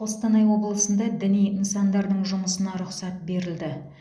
қостанай облысында діни нысандардың жұмысына рұқсат берілді